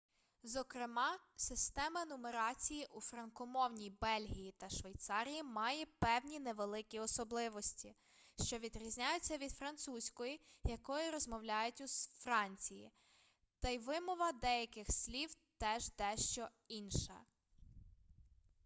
зокрема система нумерації у франкомовній бельгії та швейцарії має певні невеликі особливості що відрізняються від французької якою розмовляють у франції та й вимова деяких слів теж дещо інша